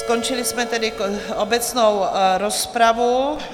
Skončili jsme tedy obecnou rozpravu.